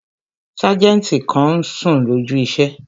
Sájẹ̀ntì kan n sùn lójú iṣẹ́